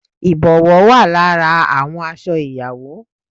Ìbòwó wà lára àwọn aṣọ ìyàwó